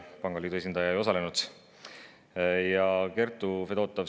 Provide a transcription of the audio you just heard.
Pangaliidu esindaja ei osalenud.